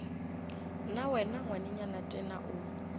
na wena ngwanenyana tena o